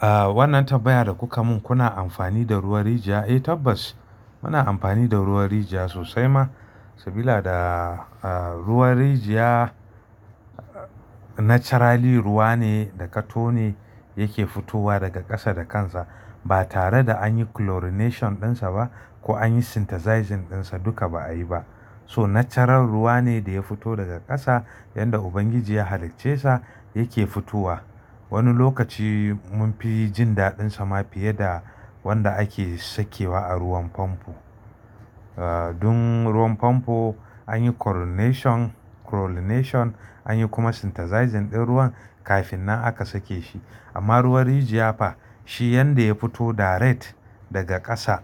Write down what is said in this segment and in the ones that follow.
Ah, wannan tambaya da kuka mun, kuna amfani da ruwan rijiya? Eh tabbas, muna amfani da ruwan rijiya sosai ma, sabila ds ruwan rijiya naturally ruwa ne da ka tone yake fitowa daga ƙasa da kansa. Ba tare da anyi chlorination ɗinsa ba, ko anyi synthesising ɗinsa, duka ba a yi ba. So natural ruwa ne da ya fito daga ƙasa, yanda Ubangiji ya halicce sa yake fitowa. Wani lokaci munfi jin daɗin sa ma fiye da wanda ake sakewa a ruwan famfo. Dun, ruwan famfo anyi chlorination, anyi kuma synthesising din ruwan kafin nan aka sake shi. Amma ruwan rijiya fa, shi yanda ya fito direct daga ƙasa,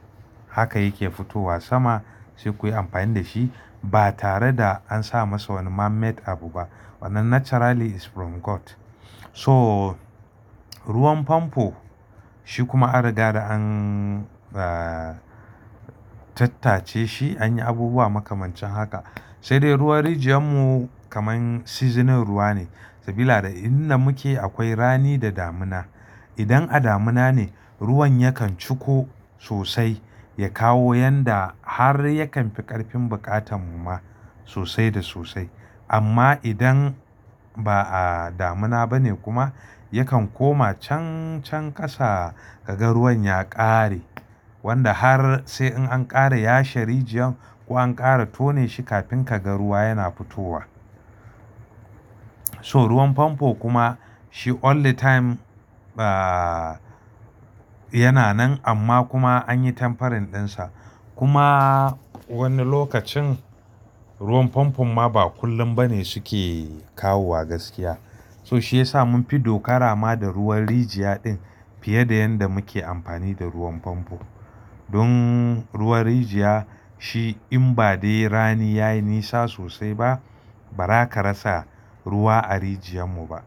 haka yake fitowa sama, sai kuyi amfani da shi ba tare da an sa masa wani man made abu ba. Wannan naturally is from God. So, ruwan famfo shi kuma an riga da an ah, tattace shi, an yi abubuwa makamancin haka. Sai dai ruwan rijiyar mu kaman seasonal ruwa ne. Sabida inda muke akwai rani da damuna. Idan a damuna ne, ruwan yakan ciko sosai, ya kawo yanda har yakan fi ƙarfin buƙatan mu ma sosai da sosai. Amma idan ba'a damuna bane kuma, yakan koma cancan ƙasa, ka ga ruwan ya ƙare. Wanda har sai in an ƙara yashe rijiyan, ko an ƙara tone shi kafin ka ga ruwa yana fitowa. So ruwan famfo kuma, shi all the time, ah, yana nan, amma kuma anyi tempering ɗinsa. Kuma wani lokacin ruwan famfo ma ba kullum bane suke kawo wa gaskiya. So shi yasa munfi dokara ma da ruwan rijiya din, fiye da yanda muke amfani da ruwan famfo. Don ruwan rijiya, shi in ba dai rani yayi nisa sosai ba, ba za ka rasa ruwa a rijiyar mu ba.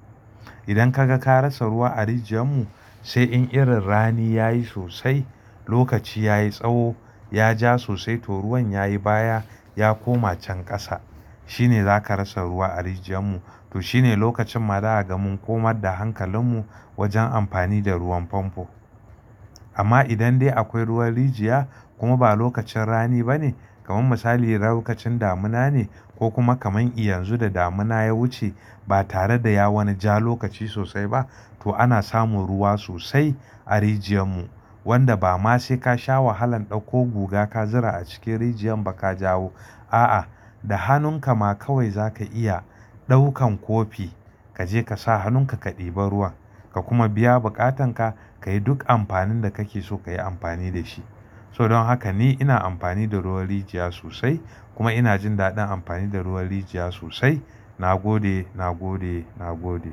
Idan ka ga ka rasa ruwa a rijiyar mu, sai in irin rani yayi sosai, lokaci yayi tsawo, ya ja sosai, to ruwan yayi baya, ya koma can ƙasa. Shine zaka rasa ruwa a rijiyar mu. To shine lokacin ma zaka ga mun komar da hankalin mu wajen amfani da ruwan famfo. Amma idan dai akwai ruwan rijiya, kuma ba lokacin rani bane, kaman misali lokacin damuna ne, ko kuma kaman i yanzu da damuna ya wuce ba tare da ya wani ja lokaci sosai ba, to ana samun ruwa sosai a rijiyar mu. Wanda ba ma sai ka sha wahalan ɗauko guga ka zura a cikin rijiyar ba ka jawo. A'a, da hannun ka ma kawai zaka iya, ɗaukan kofi kaje ka sa hannun ka ka ɗiba ruwan, ka kuma biya buƙatan ka, ka yi duk amfanin da kake so ka yi amfani da shi. So don haka ni ina amfani da ruwan rijiya sosai, kuma ina jin daɗin amfani da ruwan rijiya sosai. Na gode, na gode, na gode.